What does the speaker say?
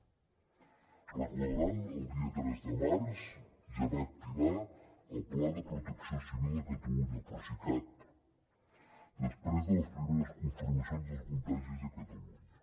deuen recordar que el dia tres de març ja va activar el pla de protecció civil de catalunya el procicat després de les primeres confirmacions dels contagis a catalunya